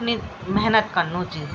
नि मेहनत कन्नू च।